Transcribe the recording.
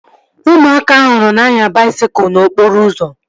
Ụmụaka ahụ nọ na-anya baisikụl n'okporo ụzọ